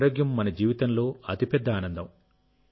మన ఆరోగ్యం మన జీవితంలో అతిపెద్ద ఆనందం